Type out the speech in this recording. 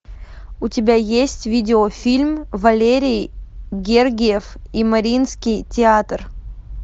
у тебя есть видеофильм валерий гергиев и мариинский театр